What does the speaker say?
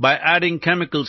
എല്ലാത്തിനും രാസപരവും നാഡീശാസ്ത്രപരവുമായ അടിസ്ഥാനമുണ്ട്